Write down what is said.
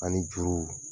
Ani juru